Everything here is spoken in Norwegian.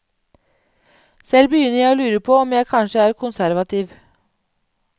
Selv begynner jeg å lurer på om jeg kanskje er konservativ.